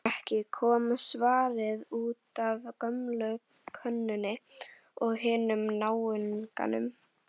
Gengur ekki,- kom svarið, útaf gömlu konunni og hinum náunganum.